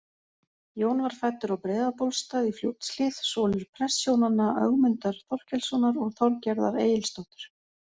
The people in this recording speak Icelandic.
Jón var fæddur á Breiðabólstað í Fljótshlíð, sonur prestshjónanna Ögmundar Þorkelssonar og Þorgerðar Egilsdóttur.